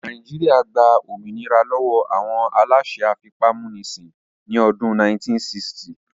Nàìjíríyà gba òmìnira lọ́wọ́ àwọn aláṣẹ afipámúnisìn ní ọdún 1960